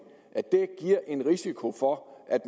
at det giver en risiko for at